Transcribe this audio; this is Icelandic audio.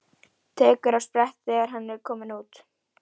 Tekur á sprett þegar hann er kominn út.